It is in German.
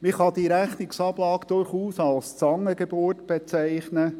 Man kann diese Rechnungsablage durchaus als Zangengeburt bezeichnen.